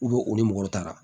o ni mɔgɔ wɛrɛw taara